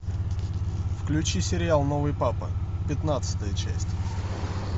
включи сериал новый папа пятнадцатая часть